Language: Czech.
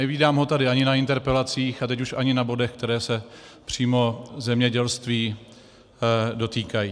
Nevídám ho tady ani na interpelacích a teď už ani na bodech, které se přímo zemědělství dotýkají.